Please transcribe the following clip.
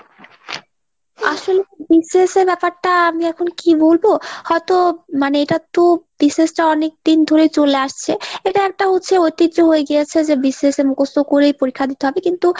আসলে BCS এর ব্যাপরটা আমি এখন কী বলবো ? হয়তো মানে এটা তো BCS টা অনেকদিন ধরে চলে আসছে, এটা হচ্ছে ঐতিহ্য হয়ে গিয়াছে যে BCS মুখস্ত করেই পরীক্ষা দিতে হবে। কিন্তু